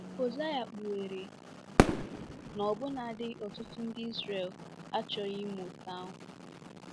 Hosea kpughere na ọbụnadi ọtụtụ ndị Izrel achọghị ime otú ahụ.